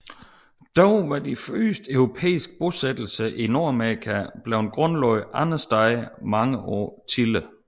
Dog var de første europæiske bosættelser i Nordamerika blevet grundlagt andre steder mange år tidligere